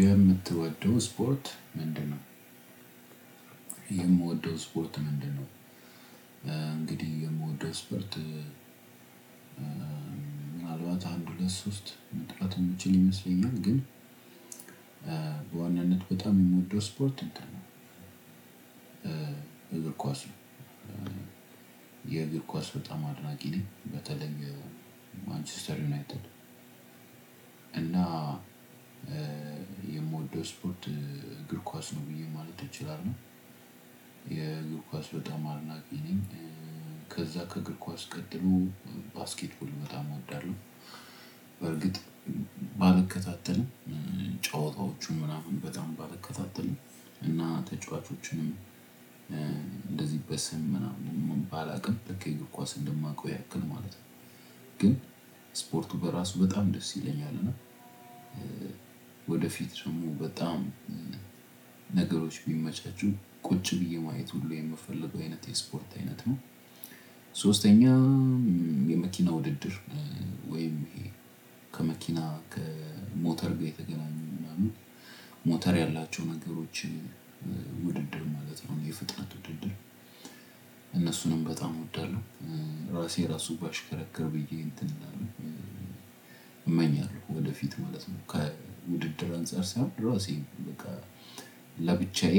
የምትወደው ስፖርት ምንድን ነው? የምወደው ስፖርት ምንድን ነው? እንግዲህ የምወደው ስፖርት ምናልባት አንድ፣ ሁለት፣ ሶስት መጥቀስ የምችል ይመስለኛል፤ ግን። በዋናነት በጣም የምወደው ስፖርት እንትን ነው እግር ኳስ ነው፤ የእግር ኳስ በጣም አድናቂ ነኝ፣ በተለይ ማንቸስተር ዩናይትድ እና የምወደው ስፖርት እግር ኳስ ነው ብዬ ማለት እችላለሁ። የእግር ኳስ በጣም አድናቂ ነኝ። ከዛ ከእግር ኳስ ቀጥሎ ባስኬትቦል በጣም እወዳለሁ፤ በእርግጥ። ባልከታተልም ጨዋታዎቹን ምናምን በጣም ባልከታተልም እና ተጫዋቾችንም እንደዚህ በስም ምናምን ባላውቅም በእግር ኳስ እንደማውቀው ያክል ማለት ነው ግን ስፖርቱ በራሱ በጣም ደስ ይለኛል፤ እና ወደፊት ደግሞ በጣም ነገሮች ቢመቻቹ ቁጭ ብዬ ማየት ሁሉ የምፈልገው አይነት የስፖርት አይነት ነው። ሶስተኛ የመኪና ውድድር ወይም ከመኪና፣ ከሞተር ጋር የተገናኙ ምናምን ሞተር ያላቸው ነገሮች ውድድር ማለት ነው፤ የፍጥነት ውድድር እነሱንም በጣም እወዳለሁ። ራሴ ራሱ ባሽከረክር ብዬ እንትን እላልው። እመኛለሁ ወደፊት ማለት ነው። ከውድድር አንፃር ሳይሆን፣ ራሴ በቃ ለብቻዬ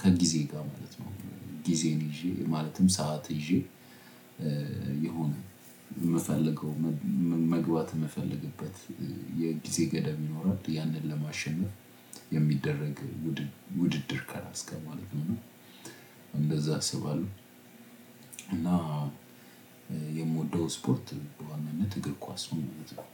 ከጊዜ ጋር ማለት ነው ጊዜን ይዤ ማለትም ሰዓት ይዤ የሆነ የምፈልገው፣ መግባት የምፈልግበት የጊዜ ገደብ ይኖራል፤ ያንን ለማሸነፍ የሚደረግ ውድድር ከራሴ ጋር ማለት ነው፤ እንደዚያ አስባለሁ። እና የምወደው ስፖርት በዋናነት እግር ኳስ ነው። ማለት ነው።